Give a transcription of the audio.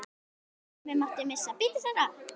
Engan tíma mátti missa.